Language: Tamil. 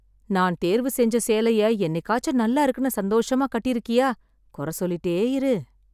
நான் தேர்வு செஞ்ச சேலைய என்னிக்காச்சு நல்லா இருக்குன்னு சந்தோஷமா கட்டிருக்கியா. குறை சொல்லிட்டே இரு.